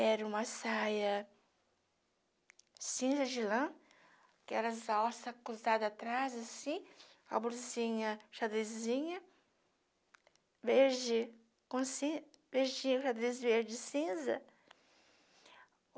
era uma saia cinza de lã, que era as alça cruzada atrás, assim, com a blusinha xadrezinha, verde com ci verdinha, verdes cinza